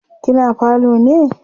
kina falo ne?